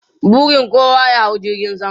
Burin kowa ya hau jirgin sama.